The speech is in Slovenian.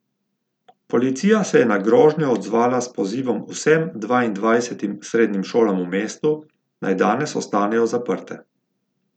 Policija se je na grožnjo odzvala s pozivom vsem dvaindvajsetim srednjim šolam v mestu, naj danes ostanejo zaprte.